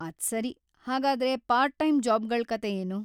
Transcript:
ಅದ್ಸರಿ, ಹಾಗಾದ್ರೆ part time ಜಾಬ್‌ಗಳ್ ಕತೆ ಏನು?